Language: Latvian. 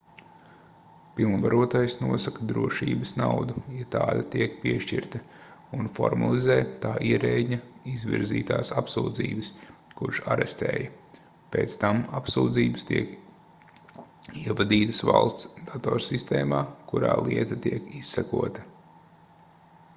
pilnvarotais nosaka drošības naudu ja tāda tiek piešķirta un formalizē tā ierēdņa izvirzītās apsūdzības kurš arestēja pēc tam apsūdzības tiek ievadītas valsts datorsistēmā kurā lieta tiek izsekota